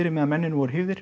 meðan mennirnir voru